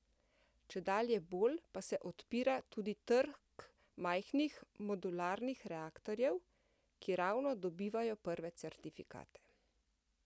Čedalje bolj pa se odpira tudi trg majhnih modularnih reaktorjev, ki ravno dobivajo prve certifikate.